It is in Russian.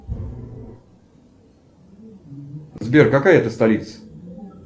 сбер какая это столица